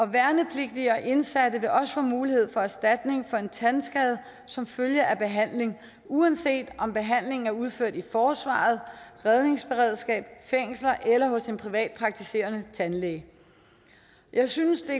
værnepligtige og indsatte vil også få mulighed for erstatning for en tandskade som følge af behandling uanset om behandlingen er udført i forsvaret redningsberedskabet fængslerne eller hos en privatpraktiserende tandlæge jeg synes at